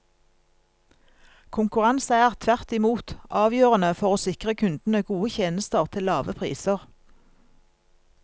Konkurranse er, tvert imot, avgjørende for å sikre kundene gode tjenester til lave priser.